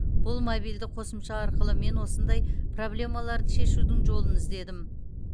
бұл мобильді қосымша арқылы мен осындай проблемаларды шешудің жолын іздедім